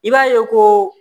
I b'a ye ko